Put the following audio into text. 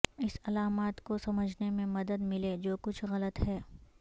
اس علامات کو سمجھنے میں مدد ملے جو کچھ غلط ہے